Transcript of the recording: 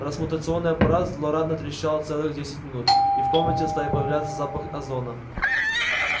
трансмутационный аппарат злорадно трещал целых десять минут и в комнате стал появляться запах озона